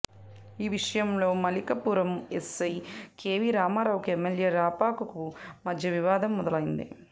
ఈ విషయంలో Malikipuram SI KV రామారావుకు ఎమ్మెల్యే రాపాకకు మధ్య వివాదం మొదలైంది